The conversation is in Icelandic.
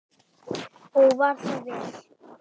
Og var það vel.